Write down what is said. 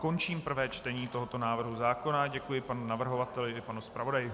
Končím prvé čtení tohoto návrhu zákona a děkuji panu navrhovateli i panu zpravodaji.